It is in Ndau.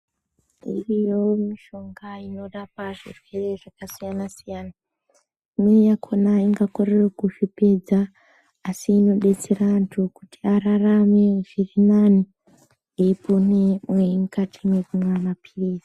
Iriyo mishonga inorapa zvirwere zvakasiyana siyana imweni yakhona ingakorera kuzvipedza asi inodetsera antu kuti ararama zvirinani eipone mukati mekumwa mapirizi.